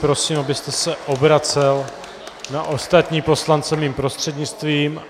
Prosím, abyste se obracel na ostatní poslance mým prostřednictvím.